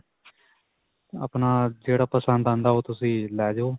ਆਪਣਾ ਜਿਹੜਾ ਪਸੰਦ ਆਉਂਦਾ ਓਹ ਤੁਸੀਂ ਲੈ ਜਾਓ.